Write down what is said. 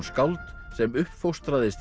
skáld sem